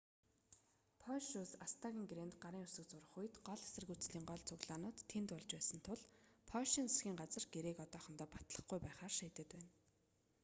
польш улс аста-н гэрээнд гарын үсэг зурах үед гол эсэргүүцлийн гол цуглаанууд тэнд болж байсан тул польшийн засгийн газар гэрээг одоохондоо батлахгүй байхаар шийдээд байна